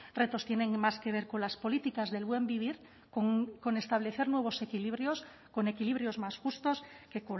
retos tienen más que ver con las políticas del buen vivir con establecer nuevos equilibrios con equilibrios más justos que